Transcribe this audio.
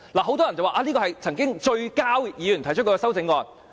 很多人說，這是曾經"最膠"議員提出的修正案。